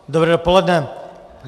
Dobré dopoledne.